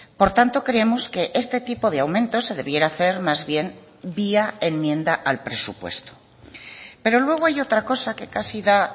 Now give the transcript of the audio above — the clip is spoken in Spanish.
por tanto creemos que este tipo de aumentos se debiera hacer más bien vía enmienda al presupuesto pero luego hay otra cosa que casi da